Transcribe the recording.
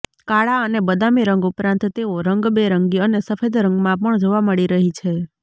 કાળા અને બદામી રંગ ઉપરાંત તેઓ રંગબેરંગી અને સફેદ રંગમાં પણ જોવા મળી રહે છે